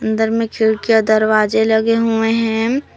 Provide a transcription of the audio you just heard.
अंदर में खिड़कियां दरवाजे लगे हुए हैं।